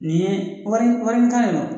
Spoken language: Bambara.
Nin ye wari wari kan